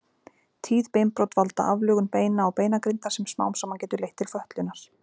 Tíð beinbrot valda aflögun beina og beinagrindar sem smám saman getur leitt til fötlunar.